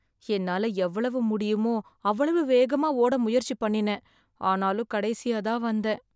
என்னால எவ்வளவு முடியுமோ அவ்வளவு வேகமா ஓட முயற்சி பண்ணினேன், ஆனாலும் கடைசியா தான் வந்தேன்.